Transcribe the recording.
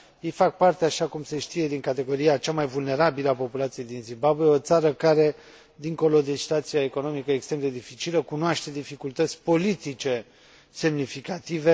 Ei fac parte, așa cum se știe, din categoria cea mai vulnerabilă a populației din Zimbabwe, o țară care, dincolo de situația economică extrem de dificilă, cunoaște dificultăți politice semnificative.